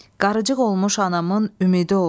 Qarıcıq olmuş anamın ümidi ol.